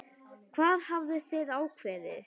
Hvað hafið þið ákveðið?